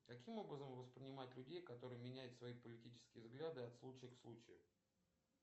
каким образом воспринимать людей которые меняют свои политические взгляды от случая к случаю